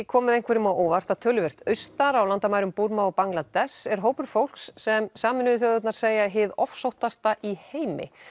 komið einhverjum á óvart að töluvert austar á landamærum Búrma og Bangladess er hópur fólks sem Sameinuðu þjóðirnar segja hið ofsóttasta í heimi